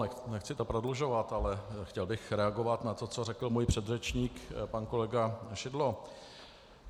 Nechci to prodlužovat, ale chtěl bych reagovat na to, co řekl můj předřečník pan kolega Šidlo.